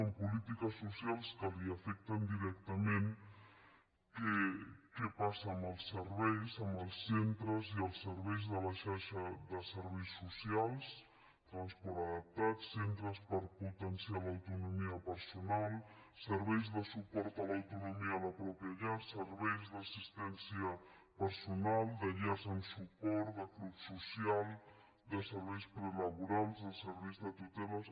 en polítiques socials que l’afecten directament què passa amb els serveis amb els centres i els serveis de la xarxa de serveis socials transport adaptat centres per potenciar l’autonomia personal serveis de suport a l’autonomia a la pròpia llar serveis d’assistència personal de llars amb suport de club social de serveis prelaborals de serveis de tuteles